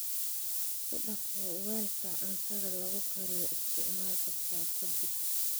Ku dhaq weelka cuntada lagu kariyo isticmaal kasta ka dib.